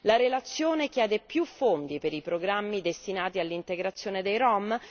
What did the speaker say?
La relazione chiede più fondi per i programmi destinati all'integrazione dei rom?